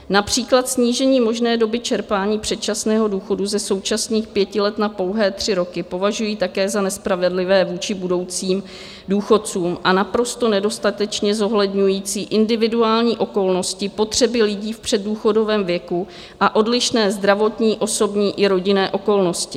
Například snížení možné doby čerpání předčasného důchodu ze současných pěti let na pouhé tři roky považují také za nespravedlivé vůči budoucím důchodcům a naprosto nedostatečně zohledňující individuální okolnosti, potřeby lidí v předdůchodovém věku a odlišné zdravotní, osobní i rodinné okolnosti.